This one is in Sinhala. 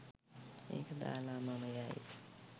මේක දාලා මම යයි